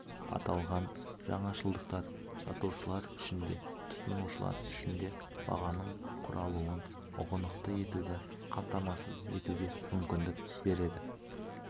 аталған жаңашылдықтар сатушылар үшін де тұтынушылар үшін де бағаның құралуын ұғынықты етуді қамтамасыз етуге мүмкіндік береді